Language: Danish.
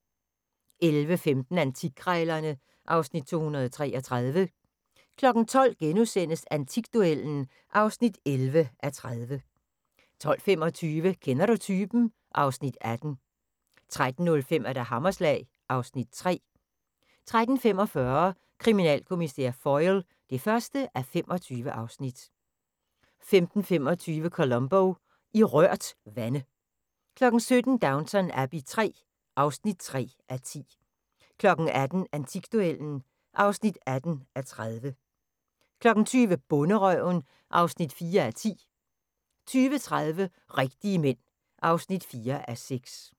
11:15: Antikkrejlerne (Afs. 233) 12:00: Antikduellen (11:30)* 12:25: Kender du typen? (Afs. 18) 13:05: Hammerslag (Afs. 3) 13:45: Kriminalkommissær Foyle (1:25) 15:25: Columbo: I rørt vande 17:00: Downton Abbey III (3:10) 18:00: Antikduellen (18:30) 20:00: Bonderøven (4:10) 20:30: Rigtige Mænd (4:6)